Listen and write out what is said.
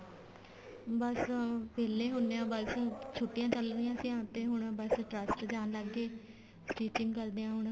ਬੱਸ ਵਿਹਲੇ ਹੁੰਨੇ ਆ ਬੱਸ ਛੁੱਟੀਆਂ ਚੱਲ ਰਹੀਆਂ ਸੀ ਤੇ ਹੁਣ ਬੱਸ trust ਜਾਣ ਲੱਗ ਗਏ stitching ਕਰਦੇ ਆ ਹੁਣ